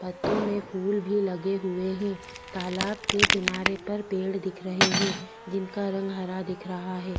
पत्तो में फूल भी लगे हुए है तालाब के किनारे पर पेड़ दिख रहे है जिनका रंग हरा दिख रहा है।